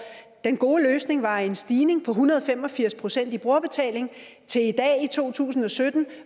den gode løsning var en stigning på en hundrede og fem og firs procent i brugerbetaling til i dag to tusind og sytten